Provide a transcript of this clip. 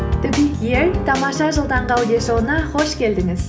тамаша жыл таңғы аудиошоуына қош келдіңіз